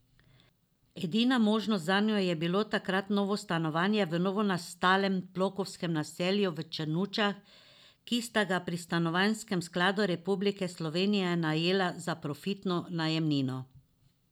Edina možnost zanju je bilo takrat novo stanovanje v novonastalem blokovskem naselju v Črnučah, ki sta ga pri Stanovanjskem skladu Republike Slovenije najela za profitno najemnino.